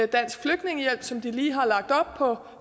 dansk flygtningehjælp som de lige har lagt op på